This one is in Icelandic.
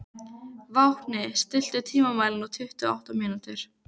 Vápni, stilltu tímamælinn á tuttugu og átta mínútur.